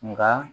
Nka